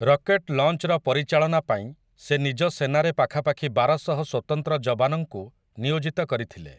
Rocket ଲଞ୍ଚ୍‌ର ପରିଚାଳନାପାଇଁ ସେ ନିଜ ସେନାରେ ପାଖାପାଖି ବାରଶହ ସ୍ୱତନ୍ତ୍ର ଯବାନଙ୍କୁ ନିୟୋଜିତ କରିଥିଲେ ।